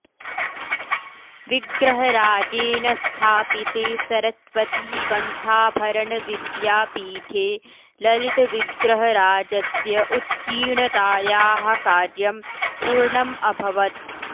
विग्रहराजेन स्थापिते सरस्वतीकण्ठाभरणविद्यापीठे ललितविग्रहराजस्य उत्कीणतायाः कार्यं पूर्णम् अभवत्